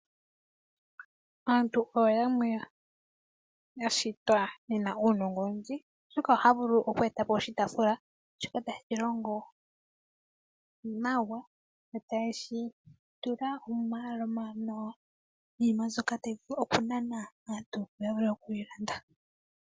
Aantu oyo yamwe yashitwa yena uunongo owindji oshoka ohaya vulu oku e ta po oshitaafula shoka tashi longo nawa, e taye shi tula omatala omawanawa niinima mbyoka tayi vulu oku nana aantu mba taya vulu oku yi landa.